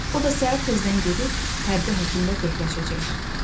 O da səhər tezdən gedib hərbi həkimlə bəyləşəcək.